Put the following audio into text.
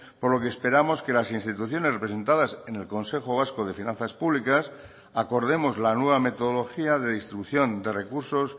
por lo que esperamos que las instituciones representadas en el consejo vasco de finanzas públicas acordemos la nueva metodología de distribución de recursos